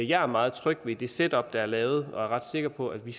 jeg er meget tryg ved det setup der er lavet og er ret sikker på at vi